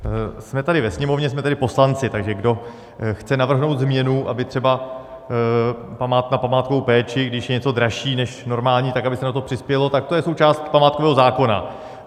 Jsme tady ve Sněmovně, jsme tady poslanci, takže kdo chce navrhnout změnu, aby třeba na památkovou péči, když je něco dražší než normální, tak aby se na to přispělo, tak to je součást památkového zákona.